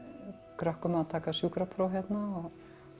krökkum að taka sjúkrapróf hérna